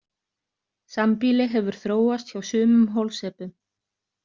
Sambýli hefur þróast hjá sumum holsepum.